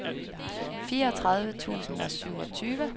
fireogtredive tusind og syvogtyve